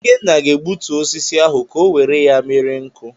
Ikenna ga-egbutu osisi ahụ ka o were ya mere nkụ.